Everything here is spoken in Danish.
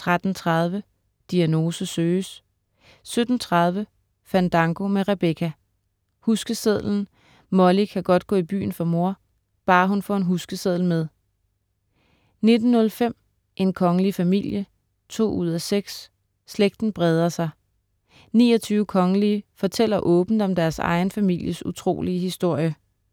13.30 Diagnose søges* 17.30 Fandango med Rebecca. Huskesedlen, Molly kan godt gå i byen for mor, bare hun får en huskeseddel med 19.05 En kongelig familie 2:6. Slægten breder sig, 29 kongelige fortæller åbent om deres egen families utrolige historie